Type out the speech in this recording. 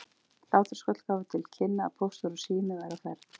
Hlátrasköll gáfu til kynna að Póstur og Sími væru á ferð.